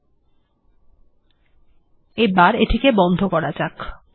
এখন আমরা এটিকে বন্ধ করে দেব আমাদের এখন আর এটির প্রয়োজন নেই